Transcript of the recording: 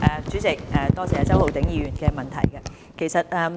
主席，多謝周浩鼎議員的補充質詢。